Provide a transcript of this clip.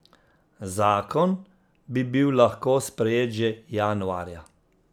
Zakon bi bil lahko sprejet že januarja.